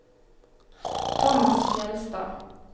Tomas Fjeldstad